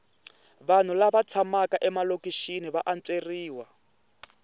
vanhu lava tshamaka emalokixi va antsweriwa